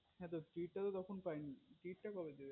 হ্যা তো treat টা তো তখন পাই নি treat টা কবে দেবে